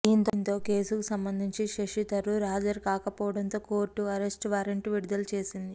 దీంతో కేసుకు సంబంధించి శశిథరూర్ హజరు కాకపోవడంతో కోర్టు అరెస్ట్ వారెంట్ విడుదల చేసింది